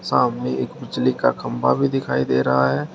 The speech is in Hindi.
सामने एक बिजली का खंबा भी दिखाई दे रहा है।